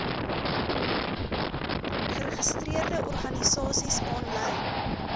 geregistreerde organisasies aanlyn